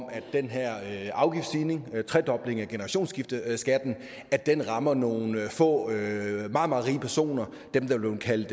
den her afgiftsstigning tredoblingen af generationsskifteskatten rammer nogle få meget meget rige personer dem der er blevet kaldt